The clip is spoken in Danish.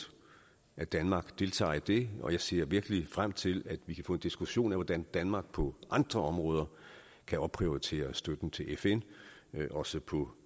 at danmark deltager i det og jeg ser virkelig frem til at vi kan få en diskussion af hvordan danmark på andre områder kan opprioritere støtten til fn også på